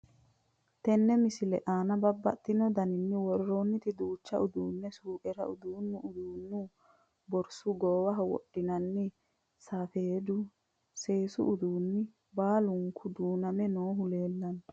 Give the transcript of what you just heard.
Tenne misile aanna babaxxittinno daniinni woroonnitti duucha uduunne suuqqera udii'nanni uduunni, borissu, goowaho wodhinanniri, safeeddu, seessu uduunni baallunku duuname noohu leelanno